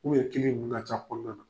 ninnu ka ca kɔnɔna na.